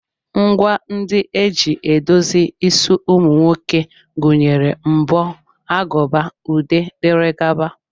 Ngwa ndị e ji edozi isi ụmụ nwoke gụnyere mbọ, aguba, ude, dg.